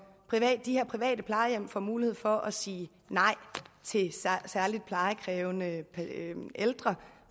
de her private plejehjem får mulighed for at sige nej til særlig plejekrævende ældre